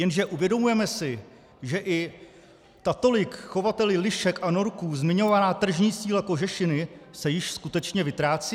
Jenže uvědomujeme si, že i ta tolik chovateli lišek a norků zmiňovaná tržní síla kožešiny se již skutečně vytrácí?